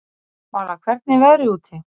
Vala, hvernig er veðrið úti?